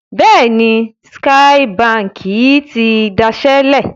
Bẹ́ẹ̀ni, Skye Báńkì ti dasẹ́ lẹ̀.